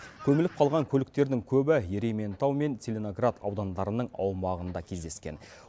көміліп қалған көліктердің көбі ерейментау мен целиноград аудандарының аумағында кездескен